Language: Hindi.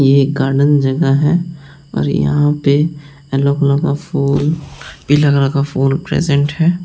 ये एक गार्डन जगह है और यहां पे येलो कलर का फूल पीला कलर का फूल प्रेजेंट है।